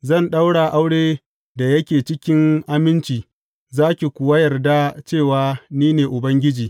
Zan ɗaura aure da yake cikin aminci za ki kuwa yarda cewa ni ne Ubangiji.